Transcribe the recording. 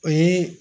O ye